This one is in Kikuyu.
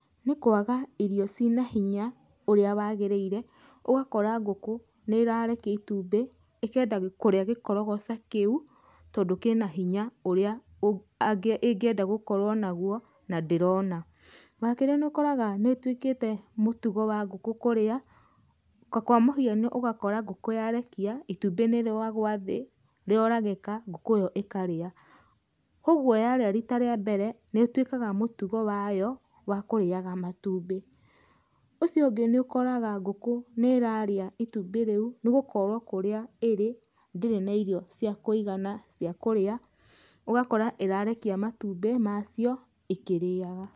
Nĩ kwaga irio ci na hinya ũrĩa wagĩrĩire, ũgakora ngũkũ nĩ ĩrarekia itumbĩ, ĩkenda kũria gĩkorogoca kĩu, tondũ kĩ na hinya ũrĩa ĩngĩenda gũkorwo naguo na ndĩrona. Wa kerĩ nĩ ũkoraga nĩ ĩtuĩkĩte mũtugo wa ngũkũ kũrĩa, ta kwa mũhiano ũgakora ngũkũ yarekia, itumbĩ nĩ rĩagwa thĩ, rĩaoragĩka, ngũkũ ĩyo ĩkarĩa. Kogwo yarĩa rita rĩa mbera, nĩ ĩtuĩkaga mũtugo wayo wa kũrĩaga matumbĩ. Ũcio ũngĩ nĩ ũkoraga ngũkũ nĩ ĩrarĩa itumbĩ rĩu nĩ gũkorwo kũrĩa ĩrĩ, ndĩrĩ na irio cia kũigana cia kũrĩa, ũgakora ĩrarekia matumbĩ macio ĩkĩrĩaga.